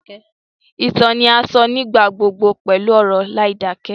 Ìtàn ni a sọ nígbà gbogbo pẹlu ọ̀rọ̀ láìdakẹ